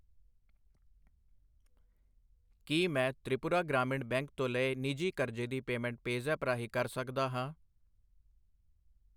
ਕੀ ਮੈਂ ਤ੍ਰਿਪੁਰਾ ਗ੍ਰਾਮੀਣ ਬੈਂਕ ਤੋਂ ਲਏ ਨਿੱਜੀ ਕਰਜ਼ੇ ਦੀ ਪੇਮੈਂਟ ਪੈਜ਼ੈਪ ਰਾਹੀਂ ਕਰ ਸਕਦਾ ਹਾਂ?